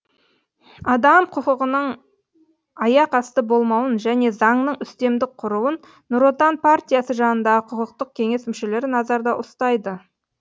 адам құқығының аяқ асты болмауын және заңның үстемдік құруын нұр отан партиясы жанындағы құқықтық кеңес мүшелері назарда ұстайды